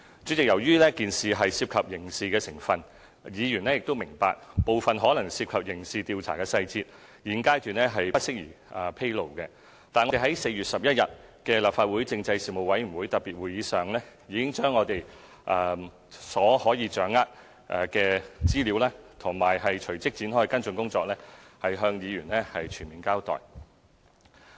主席，由於事件可能牽涉刑事成分，議員亦明白一些可能牽涉刑事調查的細節，現階段不宜披露，但我們在4月11日的立法會政制事務委員會特別會議上，已經把我們所能夠掌握的資料及隨即展開的跟進工作，向議員全面交代。